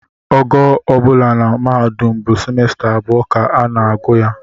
Ogo ọ bụla na mahadum bụ simesta abụọ ka a na-agụ ya